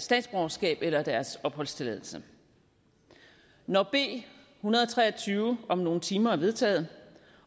statsborgerskab eller deres opholdstilladelse når b en hundrede og tre og tyve om nogle timer er vedtaget